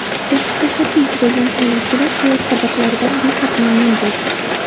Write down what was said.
Sertifikatlarga ega bo‘lgan tinglovchilar hayot saboqlaridan behad mamnun bo‘ldi.